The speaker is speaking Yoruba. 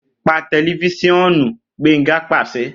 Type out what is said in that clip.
Pa tẹlifisiọnuBenga paṣẹ